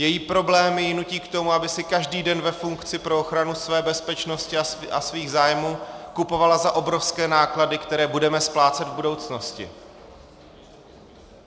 Její problémy ji nutí k tomu, aby si každý den ve funkci pro ochranu své bezpečnosti a svých zájmů kupovala za obrovské náklady, které budeme splácet v budoucnosti.